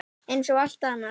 Eins og allt annað.